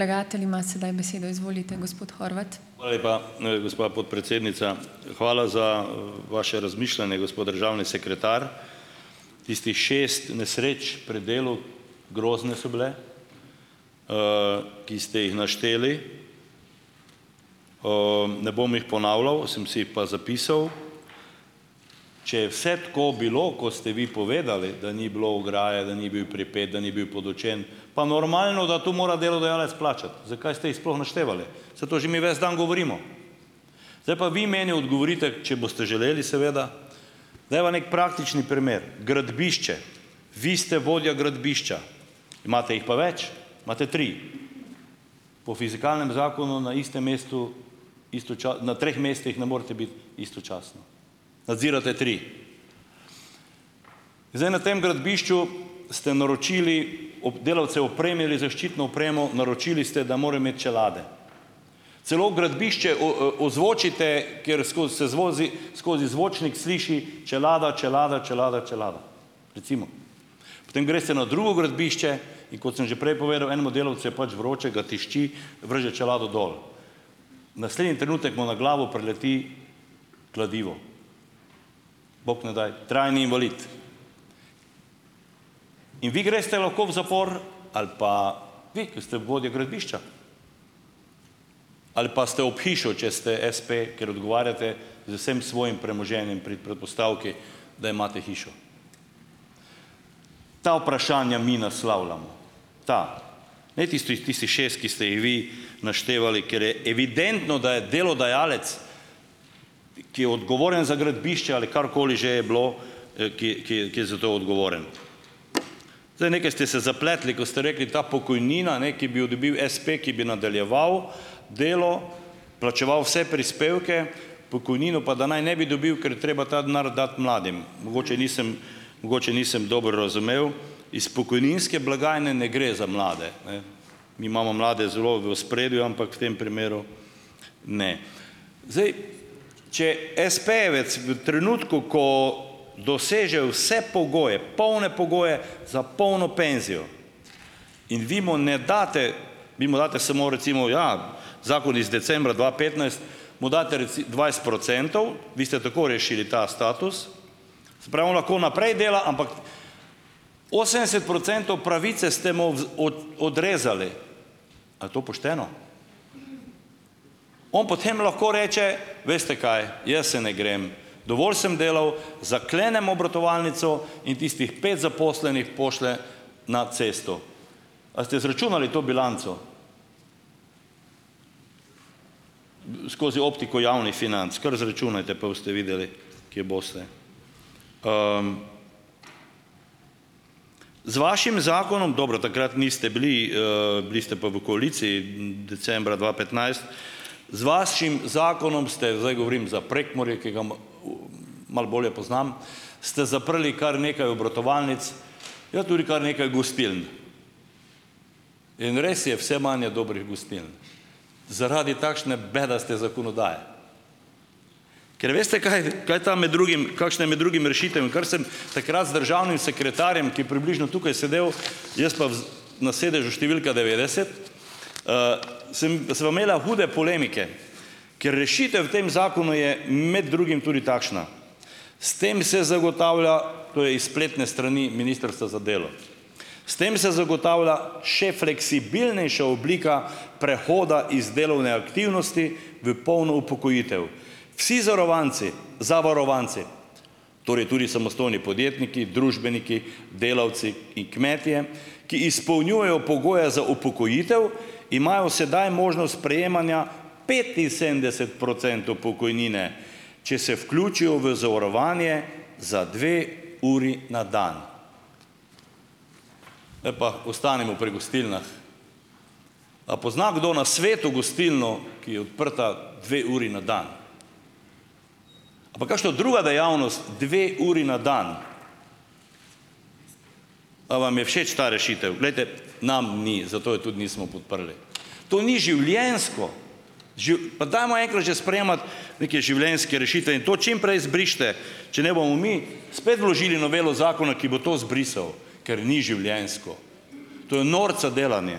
Hvala lepa, gospa podpredsednica. Hvala za, vaše razmišljanje, državni sekretar. Tistih šest nesreč pri delu, grozne so bile, ki ste jih našteli. Ne bom jih ponavljal, sem si jih pa zapisal. Če je vse tako bilo, kot ste vi povedali, da ni bilo ograje, da ni pripet, da ni bil podučen, pa normalno, da to mora delodajalec plačati. Zakaj ste jih sploh naštevali? Saj to že mi ves dan govorimo. Zdaj pa vi meni odgovorite, če boste želeli seveda, dajva neki praktični primer. Gradbišče, vi se vodja gradbišča, imate jih pa več, imate tri. Po fizikalnem zakonu na istem mestu, na treh mestih ne morate biti istočasno. Nadzirate tri. Zdaj na tem gradbišču ste naročili, ob delavce opremili z zaščitno opremo, naročili ste, da morajo imeti čelade, celo gradbišče ozvočite, kjer skozi se zvozi skozi zvočnik sliši čelada, čelada, čelada, čelada, recimo. Potem greste na drugo gradbišče in, kot sem že prej povedal, enemu delavcu je pač vroče, ga tišči, vrže čelado dol. Naslednji trenutek mu na glavo prileti kladivo. Bog ne daj, trajni invalid. In vi greste lahko v zapor ali pa vi, ki ste vodja gradbišča, ali pa ste ob hišo, če ste espe, ker odgovarjate z vsem svojim premoženjem, pri predpostavki, da imate hišo. Ta vprašanja mi naslavljamo, ta, ne tistih tistih šest, ki ste jih vi naštevali, ker je evidentno, da je delodajalec, ki je odgovoren za gradbišče ali karkoli že je bilo, ki je, ki je, ki je za to odgovoren. Zdaj, nekaj ste se zapletli, ko ste rekli, ta pokojnina, ne, ki bi jo dobil espe, ki bi nadaljeval delo, plačeval vse prispevke, pokojnino pa da naj ne bi dobil, ker treba ta denar dati mladim. Mogoče nisem, mogoče nisem dobro razumel. Iz pokojninske blagajne ne gre za mlade, ne. Mi imamo mlade zelo v ospredju, ampak v tem primeru ne. Zdaj. Če espejevec v trenutku, ko doseže vse pogoje, polne pogoje za polno penzijo in vi mu ne date, vi mu dati samo recimo, ja, zakon iz decembra dva petnajst, mu date dvajset procentov, vi ste tako rešili ta status. Prav, lahko naprej dela, ampak osemdeset procentov pravice ste mu odrezali. A je to pošteno? On potem lahko reče: "Veste, kaj. Jaz se ne grem. Dovolj sem delal, zaklenem obratovalnico." In tistih pet zaposlenih pošlje na cesto. A ste izračunali to bilanco? Skozi optiko javnih financ. Kar izračunajte, pa boste videli, kje boste. Z vašim zakonom, dobro, takrat niste bili, bili ste pa v koaliciji, decembra dva petnajst z vašim zakonom ste - zdaj govorim za Prekmurje, ki ga malo bolje poznam, ste zaprli kar nekaj obratovalnic, ja, tudi kar nekaj gostiln. In res je, vse manj je dobrih gostiln. Zaradi takšne bedaste zakonodaje. Ker veste kaj, kaj tam med drugim - kakšna je med drugim rešitev, in kar sem takrat z državnim sekretarjem, ki je približno tukaj sedel, jaz pa v na sedežu številka devetdeset. Samo sva imela hude polemike. Ker rešitev v tem zakonu je med drugim tudi takšna. "s tem se zagotavlja" - to je iz spletne strani ministrstva za delo, "s tem se zagotavlja še fleksibilnejša oblika prehoda iz delovne aktivnosti v polno upokojitev". Vsi zarovanci zavarovanci - torej tudi samostojni podjetniki, družbeniki, delavci in kmetje - "ki izpolnjujejo pogoje za upokojitev, imajo sedaj možnost prejemanja petinsedemdeset procentov pokojnine, če se vključijo v zavarovanje za dve uri na dan". Zdaj pa - ostanimo pri gostilnah. A pozna kdo na svetu gostilno, ki je odprta dve uri na dan? Ali pa kakšno druga dejavnost, dve uri na dan? A vam je všeč ta rešitev? Glejte, nam ni, zato je tudi nismo podprli. To ni življenjsko! Pa dajmo enkrat že sprejemati neke življenjske rešitve in to čim prej izbrišite, če ne bomo mi spet vložili novelo zakona, ki bo to izbrisal. Ker ni življenjsko. To je norca delanje.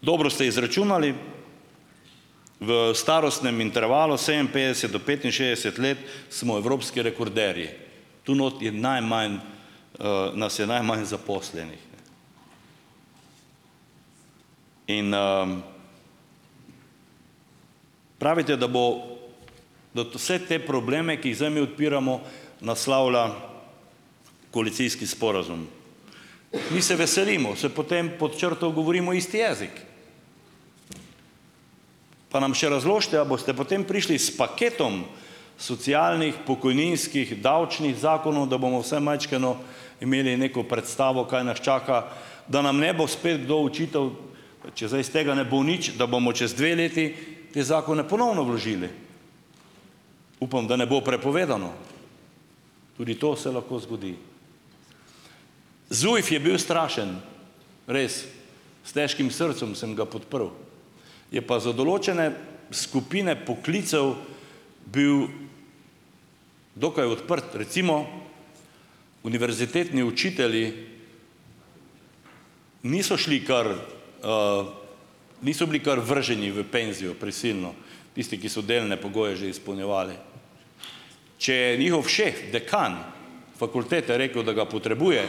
Dobro ste izračunali. V starostnem intervalu sedeminpetdeset do petinšestdeset let smo evropski rekorderji. Tu notri je najmanj, nas je najmanj zaposlenih. In, pravite, da bo da to, vse te probleme, ki jih zdaj mi odpiramo, naslavlja koalicijski sporazum. Mi se veselimo, saj potem , pod črto, govorimo isti jezik. Pa nam še razložite, a boste potem prišli s paketom socialnih, pokojninskih, davčnih zakonov, da bomo vsaj majčkeno imeli neko predstavo, kaj nas čaka, da nam ne bo spet kdo očital - če zdaj iz tega ne bo nič - da bomo čez dve leti te zakone ponovno vložili. Upam, da ne bo prepovedano. Tudi to se lahko zgodi. ZUJF je bil strašen. Res. S težkim srcem sem ga podprl. Je pa za določene skupine poklicev bil dokaj odprt. Recimo, univerzitetni učitelji niso šli kar, niso bili kar vrženi v penzijo prisilno. Tisti, ki so delne pogoje že izpolnjevali. Če je njihov šef, dekan fakultete, rekel, da ga potrebuje,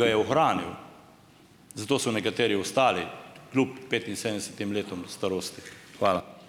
ga je ohranil. Zato so nekateri ostali kljub petinsedemdesetim letom starosti. Hvala.